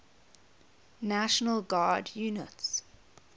national guard units